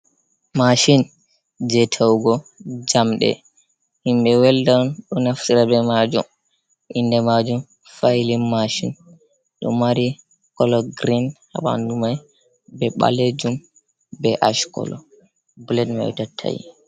Mashin je ta'ugo jamde, himɓe welda ɗo naftira be majum, inde majum failin mashin, ɗo mari colo grein habandu mai be balejum be ash colo, blet mai ɗo tatta'i.